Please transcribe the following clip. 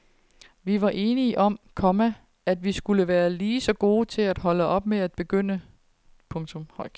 Vi var enige om, komma at vi skulle være lige så gode til at holde op som til at begynde. punktum